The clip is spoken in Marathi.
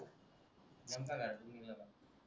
नेमका घरातून निघला का